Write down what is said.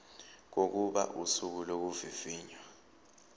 kokuba usuku lokuvivinywa